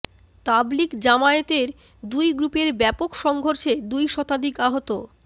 তাবলীগ জামায়াতের দুই গ্রুপের ব্যাপক সংঘর্ষে দুই শতাধিক আহত